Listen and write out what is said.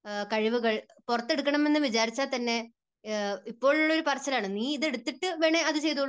കഴിവുകൾ പുറത്തെടുക്കണം എന്ന് വിചാരിച്ചാൽ തന്നെ ഇപ്പോഴുള്ള ഒരു പറച്ചിലാണ് നീ ഇത് എടുത്തിട്ട് വേണേൽ അത് ചെയ്തോളൂ.